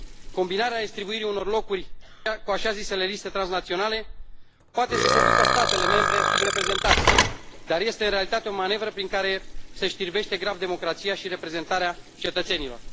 Combinarea redistribuirii unor locuri cu așa zisele liste transnaționale poate să seducă statele membre subreprezentate, dar este, în realitate, o manevră prin care se știrbește grav democrația și reprezentarea cetățenilor.